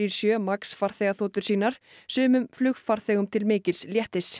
sjö Max farþegaþotur sínar sumum flugfarþegum til mikils léttis